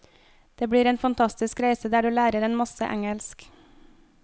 Det blir en fantastisk reise der du lærer en masse engelsk.